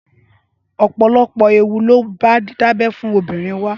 Ọpọlọpọ ééwù ló bá didábẹ̀ fùn óbírín wá